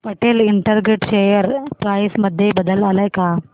Patel integrated share price मध्ये बदल आलाय का